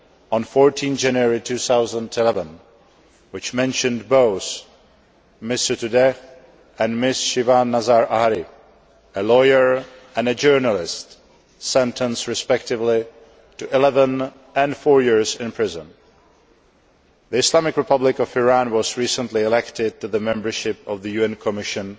on 14 January 2011, which mentioned both Ms Sotoudeh and Ms Shiva Nazar Ahari, a lawyer and a journalist, sentenced respectively to eleven and four years in prison. The Islamic Republic of Iran was recently elected to the membership of the UN Commission